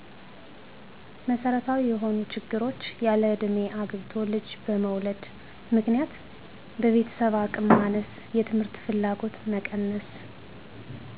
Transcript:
መሠረታዊ የሆኑ ችግሮች ያለእድሜ አግብቶ ልጅ በመውለድ ምክንያት በቤተሰብ አቅም ማነስ የትምህርት ፍላጎት መቀነስ